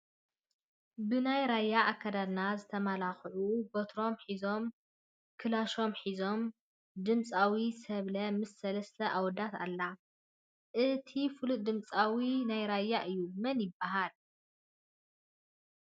ብናይ ራያ አከዳድና ዝተመላከዑ በትሮም ሒዞም ክላሾም ሒዞም ድምፃዊት ሰብለ ምስ ሰለስተ አወዳት አላ። እቲ ሓደ ፍሉጥ ድምፃዊ ናይ ራያ እዩ መን ይበሃል ?